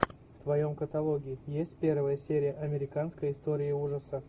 в твоем каталоге есть первая серия американской истории ужасов